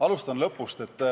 Alustan lõpust.